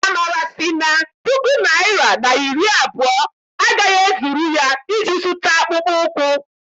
Amara sị na puku naịra na iri abụọ agaghị ezuru ya iji zụta akpụkpọ ụkwụ.